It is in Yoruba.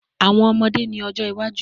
Awọn ọmọde ni ojo iwaju